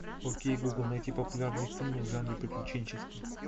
окей гугл найти популярные фильмы в жанре приключенческий